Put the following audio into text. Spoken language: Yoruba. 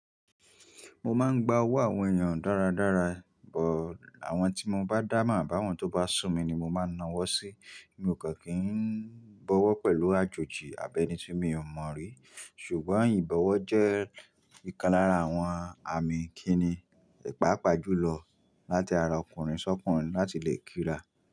Mo máa ń gba ọwọ́ àwọn èèyàn dáradára, bọ̀ àwọn tí mo bá dáa mọ̀ báwọn tó bá sùn mi ni mo máa na wọ́ sí. Mi ò kàn kí n bọ́wọ́ pẹ̀lú àjòjì àbẹ́ni tí mi ò mọ̀ rí. Ṣùgbọ́n ìbọ̀wọ̀ jẹ́ ìkan lára àwọn àmì kí ni páàpá jù lọ láti ara ọkùnrin sọ́kùnrin láti lè kí ra.